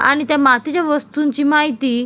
आणि त्या मातीच्या वस्तूंची माहिती --